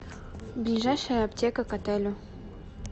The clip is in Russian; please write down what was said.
ближайшая аптека к отелю